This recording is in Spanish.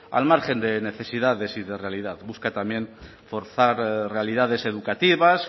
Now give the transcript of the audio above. al margen de necesidades y de realidad busca también forzar realidades educativas